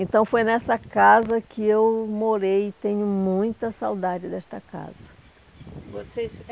Então foi nessa casa que eu morei e tenho muita saudade desta casa. Vocês